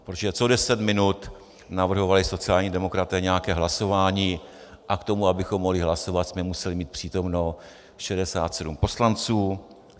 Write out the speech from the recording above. Protože co deset minut navrhovali sociální demokraté nějaké hlasování a k tomu, abychom mohli hlasovat, jsme museli mít přítomno 67 poslanců.